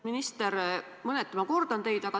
Minister, mõneti ma kordan teid.